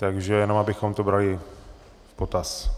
Takže jenom abychom to brali v potaz.